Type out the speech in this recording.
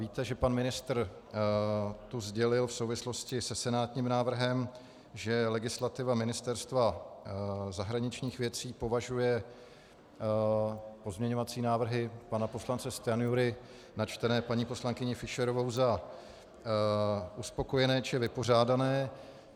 Víte, že pan ministr už sdělil v souvislosti se senátním návrhem, že legislativa Ministerstva zahraničních věcí považuje pozměňovací návrhy pana poslance Stanjury načtené paní poslankyní Fischerovou za uspokojené či vypořádané.